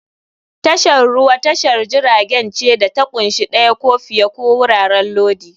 Tashar ruwa tashar jiragen ce da ta ƙunshi ɗaya ko fiye ko wuraren lodi.